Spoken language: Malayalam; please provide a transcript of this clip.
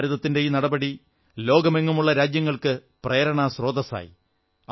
ഭാരതത്തിന്റെ ഈ നടപടി ലോകമെങ്ങുമുള്ള രാജ്യങ്ങൾക്കു പ്രേരണാസ്രോതസ്സായി